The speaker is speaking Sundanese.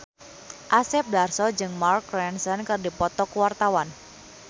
Asep Darso jeung Mark Ronson keur dipoto ku wartawan